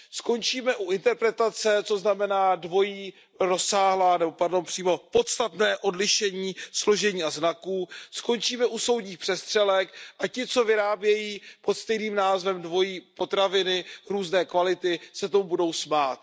Skončíme u interpretace, co znamená dvojí, rozsáhlá nebo přímo podstatné odlišení složení a znaků, skončíme u soudních přestřelek a ti, co vyrábějí pod stejným názvem dvojí potraviny různé kvality, se tomu budou smát.